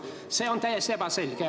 See on täiesti ebaselge.